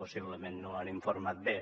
possiblement no els han informat bé